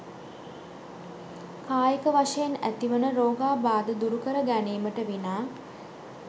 කායික වශයෙන් ඇතිවන රෝගාබාධ දුරුකර ගැනීමට විනා